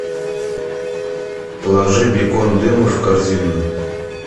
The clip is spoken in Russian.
положи бекон дымов в корзину